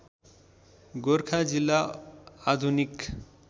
गोरखा जिल्ला आधुनिक